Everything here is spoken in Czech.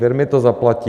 Firmy to zaplatí.